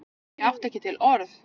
Ég átti ekki til orð!